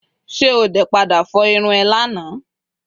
se ode pada fo irun eee Lana?